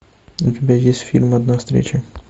у тебя есть фильм одна встреча